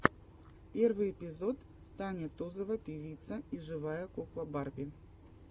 первый эпизод таня тузова певица и живая кукла барби